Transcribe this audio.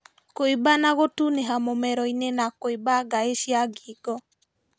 Kũimba na gũtunĩha mũmeroinĩ na kũimba ngaĩ cia ngingo